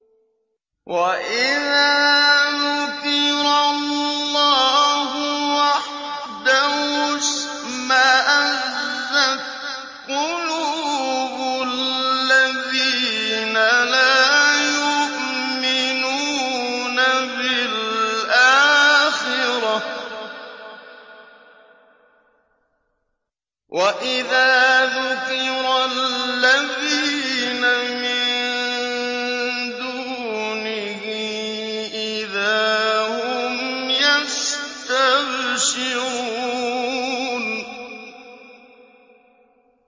وَإِذَا ذُكِرَ اللَّهُ وَحْدَهُ اشْمَأَزَّتْ قُلُوبُ الَّذِينَ لَا يُؤْمِنُونَ بِالْآخِرَةِ ۖ وَإِذَا ذُكِرَ الَّذِينَ مِن دُونِهِ إِذَا هُمْ يَسْتَبْشِرُونَ